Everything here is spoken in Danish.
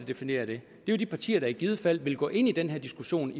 definerer det det er de partier der i givet fald vil gå ind i den her diskussion